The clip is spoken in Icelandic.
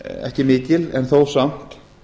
ekki mikil en þó samt